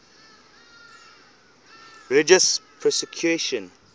religious persecution